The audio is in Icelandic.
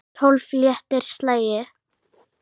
Tólf léttir slagir.